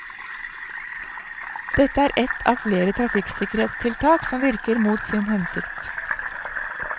Dette er ett av flere trafikksikkerhetstiltak som virker mot sin hensikt.